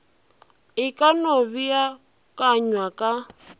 e ka no beakanywa ka